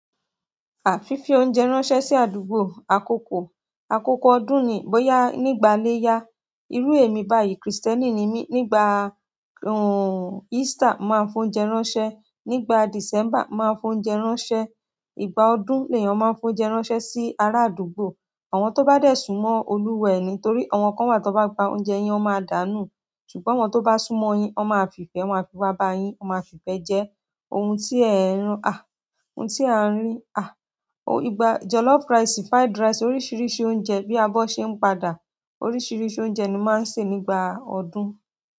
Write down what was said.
À fífi oúnjẹ ránṣẹ́ sí àdúgbò, àkókò, àkókò ọdún ni. Bóyá nígbà léyá, irú èmi báyìí krìstẹ́nì ni mí, nígbà Easter máa ń fún oúnjẹ ránṣẹ́. Nígbà December máa ń fún oúnjẹ ránṣẹ́. Ìgbà ọdún lèèyàn máa ń fi oúnjẹ ránṣẹ́ sí ará àdúgbò. Àwọn tó bá dẹ̀ sùnmọ́ Olúwa ẹ̀ ni. Nítorí àwọn kan wà tó bá gba oúnjẹ yín, wọ́n máa dànù. Ṣùgbọ́n àwọn tó bá súnmọ́ ọ yín, wọ́n máa fi ìfẹ́, wọ́n a fi wa bá a yín. Wọ́n máa fi ìfẹ́ jẹ ohun tí ẹ ń rìn, à, ohun tí a ń rìn, à. Ìgbà jollof rice, fried rice oríṣiríṣi oúnjẹ bí a bọ́ ṣe ń padà. Oríṣiríṣi oúnjẹ ni mo ma n se nígbà ọdún.